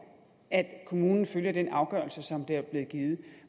at kommunen følger den afgørelse der er blevet givet